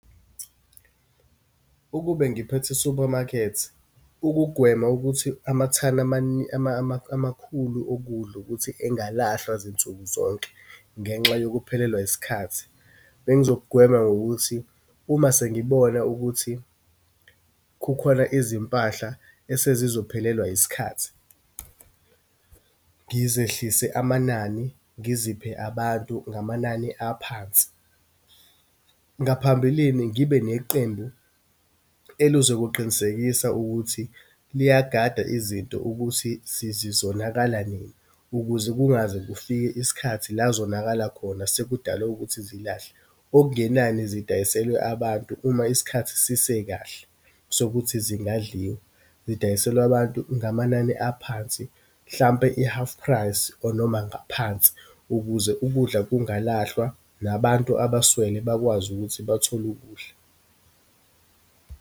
Ukube ngiphethe i-supermarket, ukugwema ukuthi amathani amakhulu okudla, ukuthi engalahlwa zinsuku zonke ngenxa yokuphelelwa isikhathi. Bengizokugwema ngokuthi, uma sengibona ukuthi kukhona izimpahla esezizophelelwa isikhathi, ngizehlise amanani, ngiziphe abantu ngamanani aphansi. Ngaphambilini ngibe neqembu elizokuqinisekisa ukuthi liyagada izinto ukuthi sizizonakala nini, ukuze kungaze kufike isikhathi la zonakala khona, sekudala ukuthi zilahlwe. Okungenani, zidayiselwe abantu uma isikhathi sisekahle, sokuthi zingadliwa. Zidayiselwe abantu ngamanani aphansi, mhlampe i-half price, or noma ngaphansi, ukuze ukudla kungalahlwa, nabantu abaswele bakwazi ukuthi bathole ukudla.